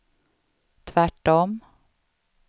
tvärtom